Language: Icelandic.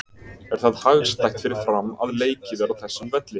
Er það hagstætt fyrir Fram að leikið er á þessum velli?